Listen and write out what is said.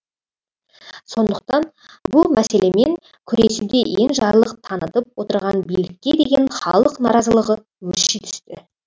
сондықтан бұл мәселемен күресуде енжарлық танытып отырған билікке деген халық наразылығы өрши түсті